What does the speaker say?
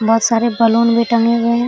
बहुत सारे बलून भी टंगे हुए है।